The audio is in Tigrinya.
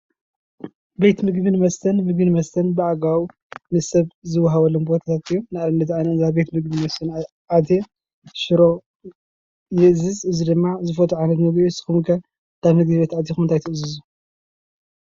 ቤት ምግብን መስተን፡- ምግብን መስተን ብአገባቡ ንሰብ ዝወሃበሉ ቦታታት እዩ። ንአብነት አነ እንዳ ቤት ምግቢ መስፍን አትየ ሽሮ ይእዝዝ። እዚ ድማ አነ ዝፈትዎ አዚዘ ንስኩም ኸ እንዳ ምግብ ቤት አቲኩም እንታይ ትእዝዙ?